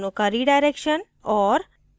दोनों का redirection और